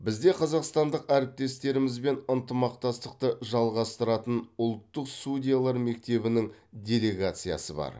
бізде қазақстандық әріптестерімізбен ынтымақтастықты жалғастыратын ұлттық судьялар мектебінің делегациясы бар